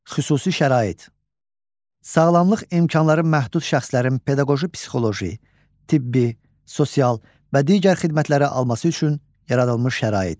Xüsusi şərait: Sağlamlıq imkanları məhdud şəxslərin pedaqoji-psixoloji, tibbi, sosial və digər xidmətləri alması üçün yaradılmış şərait.